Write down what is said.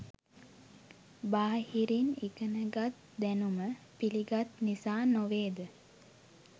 බාහිරින් ඉගෙනගත් දැනුම පිළිගත් නිසා නොවේ ද?